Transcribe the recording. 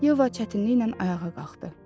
Yeva çətinliklə ayağa qalxdı.